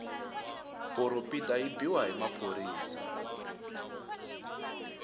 poropita yi biwa na hi maphorisa